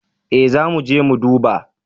Ee zamuje mu duba.